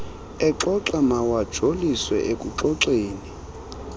exoxa mawajolise ekuxoxeni